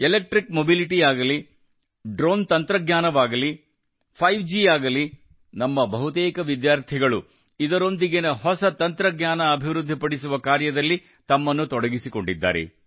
electric mobility ಆಗಲಿ drone ತಂತ್ರಜ್ಞಾನವಾಗಲಿ 5 G ಆಗಲಿ ನಮ್ಮ ಬಹುತೇಕ ವಿದ್ಯಾರ್ಥಿಗಳು ಇದರೊಂದಿಗಿನ ಹೊಸ ತಂತ್ರಜ್ಞಾನ ಅಭಿವೃದ್ಧಿ ಪಡಿಸುವ ಕಾರ್ಯದಲ್ಲಿ ತಮ್ಮನ್ನು ತೊಡಗಿಸಿಕೊಂಡಿದ್ದಾರೆ